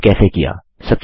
मैंने यह कैसे किया